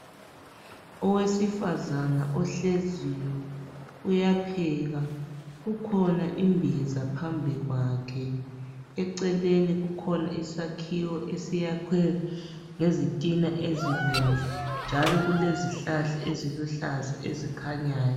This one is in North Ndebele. Owesifazana ohleziyo uyapheka. Kukhona imbhiza phambi kwakhe, eceleni kukhona isakhiwo esiyakhwe ngezitina ezibomvu njalo kulezihlahla eziluhlaza ezikhanyayo.